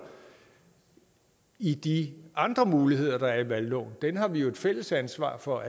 i de andre muligheder der er i valgloven den har vi jo et fælles ansvar for